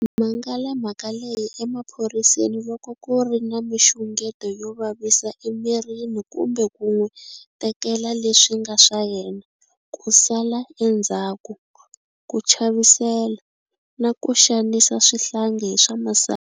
Mangala mhaka leyi emaphoriseni loko ku ri na mixungeto yo vavisa emirini kumbe ku n'wi tekela le swi nga swa yena, ku sala endzhaku, ku chavisela, na ku xanisa swihlangi hi swa masangu.